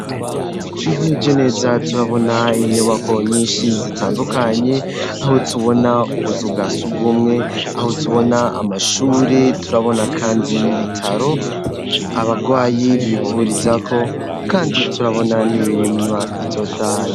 twihweze neza turabona inyubako nyinshi zitandukanye aho tubona ubuzu bwasugumwe aho tubona amashuri turabona kandi n'ibitaro abagwayi bivurizako kandi turabona n'imirima itotahaye